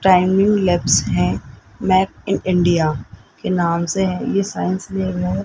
हैं map in India के नाम से है ये साइंस में मोर --